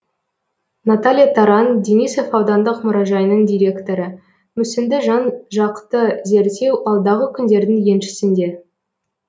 наталья таран денисов аудандық мұражайының директоры мүсінді жан жақты зерттеу алдағы күндердің еншісінде